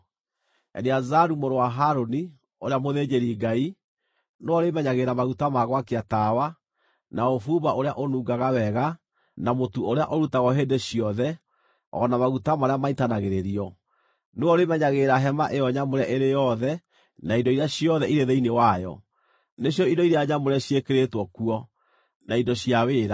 “Eleazaru mũrũ wa Harũni, ũrĩa mũthĩnjĩri-Ngai, nĩwe ũrĩmenyagĩrĩra maguta ma gwakia tawa, na ũbumba ũrĩa ũnungaga wega, na mũtu ũrĩa ũrutagwo hĩndĩ ciothe, o na maguta marĩa maitanagĩrĩrio. Nĩwe ũrĩmenyagĩrĩra Hema-ĩyo-Nyamũre ĩrĩ yothe na indo iria ciothe irĩ thĩinĩ wayo, nĩcio indo iria nyamũre ciĩkĩrĩtwo kuo, na indo cia wĩra.”